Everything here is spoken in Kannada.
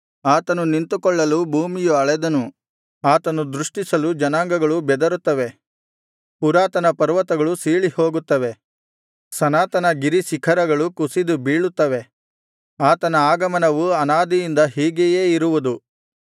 ಆತನು ನಿಂತುಕೊಳ್ಳಲು ಭೂಮಿಯು ಅಳೆದನು ಆತನು ದೃಷ್ಟಿಸಲು ಜನಾಂಗಗಳು ಬೆದರುತ್ತವೆ ಪುರಾತನ ಪರ್ವತಗಳು ಸೀಳಿಹೋಗುತ್ತವೆ ಸನಾತನ ಗಿರಿಶಿಖರಗಳು ಕುಸಿದು ಬೀಳುತ್ತವೆ ಆತನ ಆಗಮನವು ಅನಾದಿಯಿಂದ ಹೀಗೆಯೇ ಇರುವುದು